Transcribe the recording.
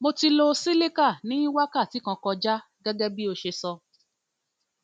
mo ti lo cilicar ní wákàti kan kọjá gẹgẹ bọ ṣe sọ